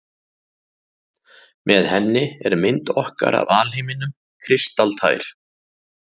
Með henni er mynd okkar af alheiminum kristaltær.